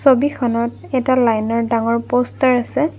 ছবিখনত এটা লাইনৰ ডাঙৰ প'ষ্টাৰ আছে।